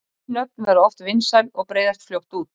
Ný nöfn verða oft vinsæl og breiðast fljótt út.